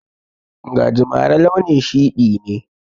Gajimare launin shiɗi ne.